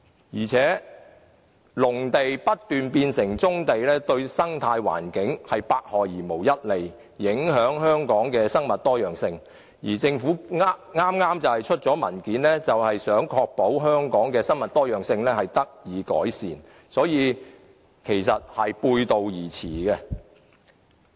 況且，農地不斷變成棕地，對生態環境百害而無一利，影響香港的生物多樣性，政府剛剛發出的文件便是想確保香港的生物多樣性得以改善，所以兩者是背道而馳的。